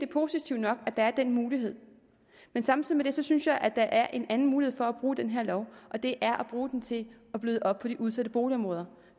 positivt nok at der er den mulighed men samtidig med det synes jeg at der er en anden mulighed for at bruge den her lov og det er at bruge den til at bløde op på de udsatte boligområder